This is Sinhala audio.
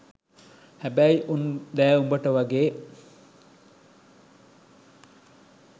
හැබැයි උන් දැ උඹට වගේ